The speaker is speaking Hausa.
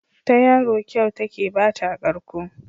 Ta yaro kyau take ba ta karko.